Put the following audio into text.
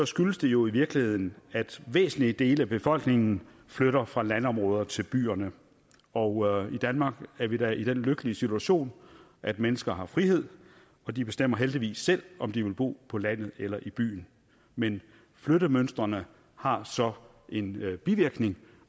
skyldes det jo i virkeligheden at væsentlige dele af befolkningen flytter fra landområderne og til byerne og i danmark er vi da i den lykkelige situation at mennesker har frihed og de bestemmer heldigvis selv om de vil bo på landet eller i byen men flyttemønstrene har så en bivirkning